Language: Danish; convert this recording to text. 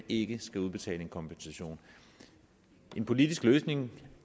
ikke skal udbetale en kompensation en politisk løsning